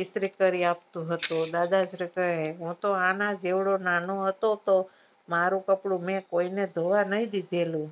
ઈસ્ત્રી કરી આપતું હતું દાદાશ્રી કહે હું તો આના જેવો નાનો હતો તો મારું કપડું મેં કોઈને ધોવા નહિ દીધેલું